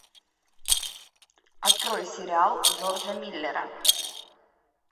открой сериал джорджа миллера